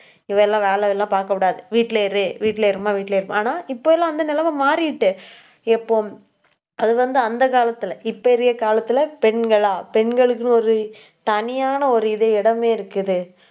இவலாம் வேலை எல்லாம் பார்க்கக் கூடாது. வீட்டுலயே இரு. வீட்டுலயே இரும்மா, வீட்டுலயே இருப்போம். ஆனால், இப்ப எல்லாம் வந்து, நிலைமை மாறிடுச்சு. எப்பவும். அது வந்து, அந்த காலத்துல இப்ப இருக்க காலத்துல, பெண்களா பெண்களுக்குன்னு ஒரு, தனியான ஒரு இது, இடமே இருக்குது